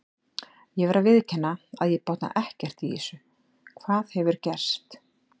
Ég verð að viðurkenna að ég botna ekkert í þessu, hvað hefur gerst?